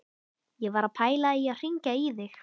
Ég var að pæla í að hringja í þig.